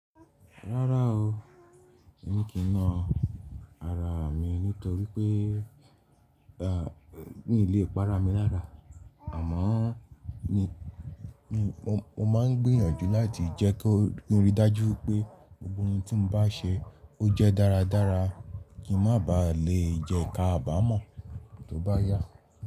Rárá o, èmi kì í na ara mi nítorí pé e, míi lé para mi lára. Àmọ́ ni, mo máa ń gbìyànjú láti jẹ́ kó rí i dájú pé gbogbo ohun tí mo bá ṣe ó jẹ́ dáradára kí n má ba à le jẹká àbàmọ̀ tó bá yá.